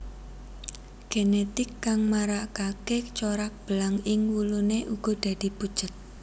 Genetik kang marakaké corak belang ing wuluné uga dadi pucet